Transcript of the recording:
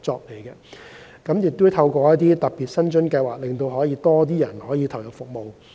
我們也會透過特別的薪津計劃，讓更多人投入服務。